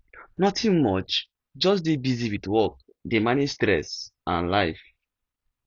nothing much just dey busy with work dey manage stress and life